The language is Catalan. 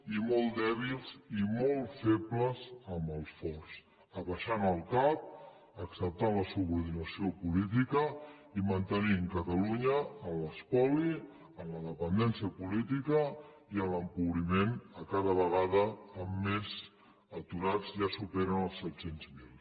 i molt dèbils i molt febles amb els forts abaixant el cap acceptant la subordinació política i mantenint catalunya a l’espoli a la dependència política i en l’empobriment cada vegada amb més aturats que ja superen els set cents miler